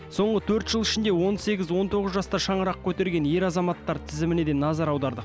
соңғы төрт жыл ішінде он сегіз он тоғыз жаста шаңырақ көтерген ер азаматтар тізіміне де назар аудардық